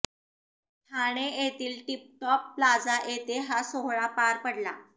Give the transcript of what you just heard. ठाणे येथील tip top plaza येथे हा सोहळा पार पडला